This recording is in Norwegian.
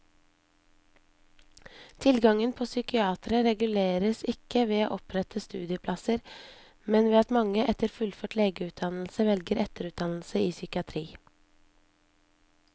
Tilgangen på psykiatere reguleres ikke ved å opprette studieplasser, men ved at mange etter fullført legeutdannelse velger etterutdannelse i psykiatri.